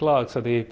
að þessari